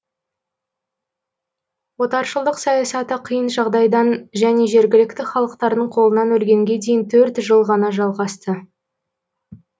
отаршылдық саясаты қиын жағдайдан және жергілікті халықтардың қолынан өлгенге дейін төрт жыл ғана жалғасты